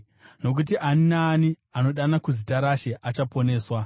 nokuti “Ani naani anodana kuzita raShe achaponeswa.”